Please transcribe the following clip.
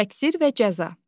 Təqsir və cəza.